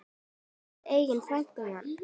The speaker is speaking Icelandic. Og helst eiga frægan mann.